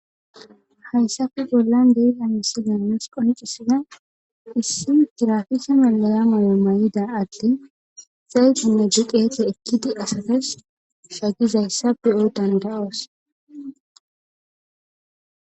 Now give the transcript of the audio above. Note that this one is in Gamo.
Hayssafe bollan dei hamisi danas qoncisida issi girafisa melolama may'ida adte saytinne juqeete ekkidi asatas shagizayssa pe'o dandayoos.